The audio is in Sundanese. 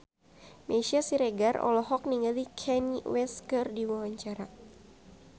Meisya Siregar olohok ningali Kanye West keur diwawancara